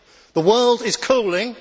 The world is cooling.